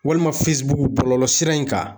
Walima bɔlɔlɔ sira in kan